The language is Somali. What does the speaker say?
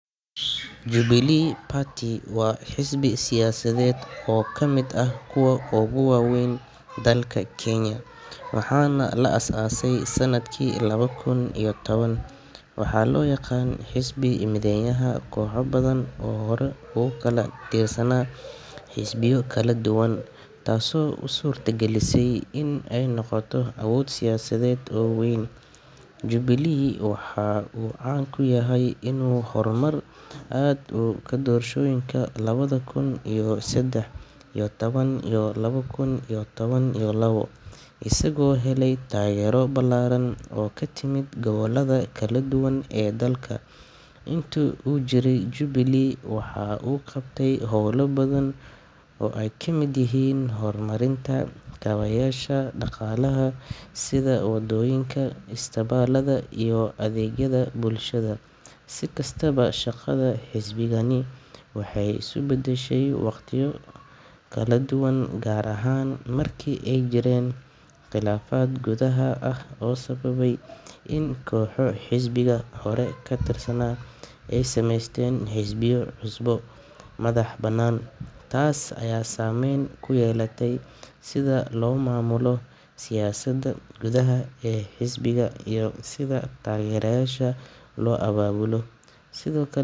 Jubilee party waa xisbii siyasadeed oo ka kamid ah kuwa ogu waweyn dalka Kenya, waxana la as ase sanadkii laba kun iyo toban waxaa loo yaqan xisbi mideeyaha koxa badan oo hore ogu kala tirsana xisbiyo kala duban taaso usurta gelisey in ay noqoto abood siyasaded oo weyn, jubilee waxa uu caan kuyahay inu horumar aad ka doroshooyinka laba kun iyo sedex iyo toban kun iyo laba kun toban iyo labo isago hele taagero balaran oo katimid gobolada kala duban ee dalka, intu uu jirey jubilee waxaa uu qabtay howlo badan oo ay kamid yihiin horumarinta kabayasha dhaqalaha sida wadooyinka, istibaalada iyo adeegyada bulshada, si kastaba shaqada xisbigani waxay isu badashey waqtiyo kala duban gaar ahan marki ay jireen qilaafad gudaha ah oo sababay in koxo xisbiga hore katirsana ay sameesten xisbiyo cusub, madax banan, taas aya saameyn kuyeelate sida loo maamulo siyasada gudaha ee xisbiga iyo sida tageeryayasha loo ababulo